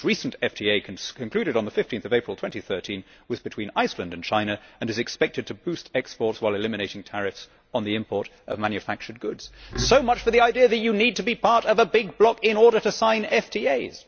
The most recent FTA, concluded on 15 April 2013, was between Iceland and China and is expected to boost exports while eliminating tariffs on the import of manufactured goods. So much for the idea that you need to be part of a big bloc in order to sign FTAs.